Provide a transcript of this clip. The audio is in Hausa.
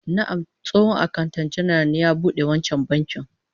Na'am, tsohon akanta janar ne ya bude wancan bankin